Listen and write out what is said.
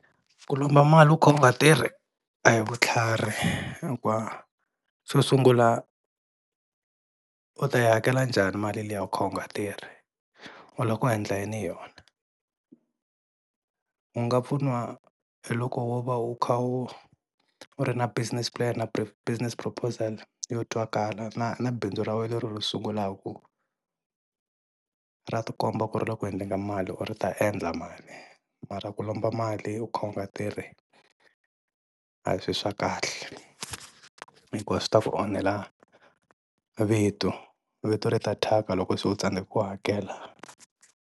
Ku lomba mali u kha u nga tirhi a hi vutlhari hikuva xo sungula u ta yi hakela njhani mali liya u kha u nga tirhi, u lava ku endla yini hi yona? U nga pfuniwa hi loko wo va u kha u u ri na business plan na business proposal yo twakalaka na na bindzu ra wena leri u ri sungulaka ra tikomba ku ri le ku endleni ka mali kumbe ri ta endla mali, mara ku lomba mali u kha u nga tirhi a hi swilo swa kahle hikuva swi ta ku onhela vito, vito ri ta thyaka loko se u tsandzeka ku hakela.